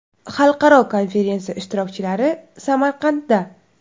Xalqaro konferensiya ishtirokchilari Samarqandda.